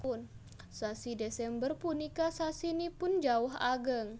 Sasi Desember punika sasinipun jawah ageng